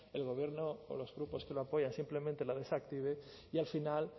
el gobierno o los grupos que lo apoyan simplemente lo desactiven y al final